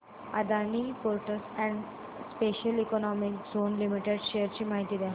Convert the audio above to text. Adani ports and special economic zone limited shares ची माहिती द्या